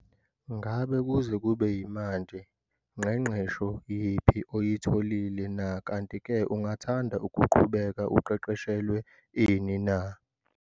Ngabe kuze kube yimanje nqeqesho yiphi oyitholile na, kanti-ke ungathanda ukuqhubeka uqeqeshelwe ini na?